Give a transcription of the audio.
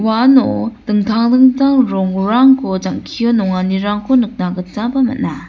uano dingtang dingtang rongrangko jang·kio nanganirangko nikna gitaba man·a.